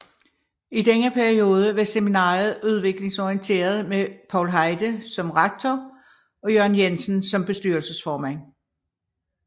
I denne periode var seminariet udviklingsorienteret med Paul Heide som rektor og Jørgen Jensen som bestyrelsesformand